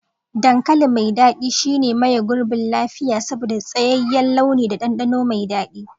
Dankali mai dadi shine maye gurbin lafiya saboda tsayayyen launi da dandano mai dadi.